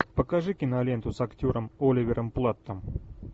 покажи киноленту с актером оливером платтом